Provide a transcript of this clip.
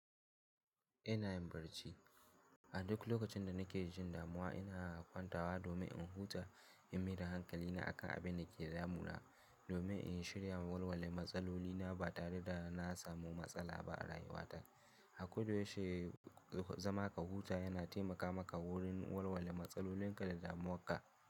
Ina yin barci. A duk lokacin da nake jin damuwa ina kwantawa domin in huta, in maida hankali na akan abin da ke damuna domin in shirya walwale matsaloli na ba tare da na samu matsala ba a rayuwata. Akoda yaushe zama ka huta yana taimaka maka wurin walwale matsalolin ka da damuwa ka.